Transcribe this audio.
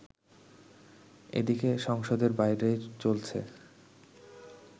এদিকে সংসদের বাইরেও চলছে